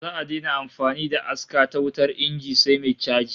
Za'a daina amfani da aska ta wutar inji sai mai chaji